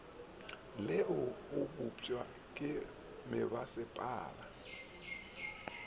le o bopšwa ke mebasepala